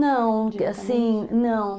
Não, assim, não.